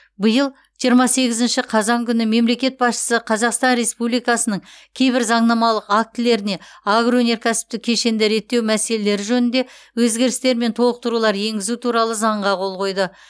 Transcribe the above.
биыл жиырма сегізінші қазан күні мемлекет басшысы қазақстан республикасының кейбір заңнамалық актілеріне агроөнеркәсіптік кешенді реттеу мәселелері жөнінде өзгерістер мен толықтырулар енгізу туралы заңға қол қойды